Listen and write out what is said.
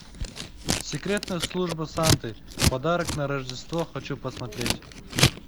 секретная служба санты подарок на рождество хочу посмотреть